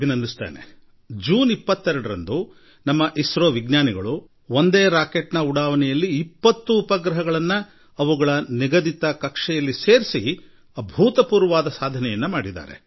ಅದೇ ವೇಳೆ ಜೂನ್ 22ರಂದು ಇಸ್ರೋದ ನಮ್ಮ ವಿಜ್ಞಾನಿಗಳು 20 ಉಪಗ್ರಹಗಳನ್ನು ಉಡಾವಣೆ ಮಾಡುವ ಮೂಲಕ ಹಿಂದಿನ ತಮ್ಮದೇ ದಾಖಲೆಯನ್ನು ಮುರಿದು ಮತ್ತೊಂದು ಹೊಸ ದಾಖಲೆ ಮಾಡಿದ್ದಾರೆ